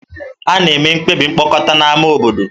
A na-eme mkpebi mkpokọta na ámá obodo.